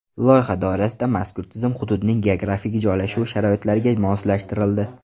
Loyiha doirasida mazkur tizim hududning geografik joylashuvi sharoitlariga moslashtirildi.